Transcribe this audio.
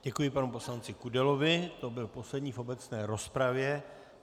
Děkuji panu poslanci Kudelovi, to byl poslední v obecné rozpravě.